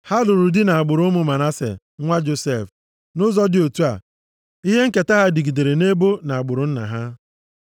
Ha lụrụ di nʼagbụrụ ụmụ Manase, nwa Josef. Nʼụzọ dị otu a, ihe nketa ha dịgidere nʼebo na agbụrụ nna ha.